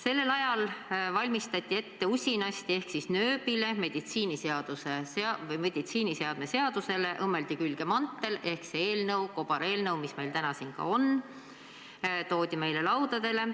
Sellel ajal valmistati usinasti ette kobareelnõu – nööbile, meditsiiniseadme seadusele õmmeldi külge mantel –, mis meil täna siin on, ja toodi meile laudadele.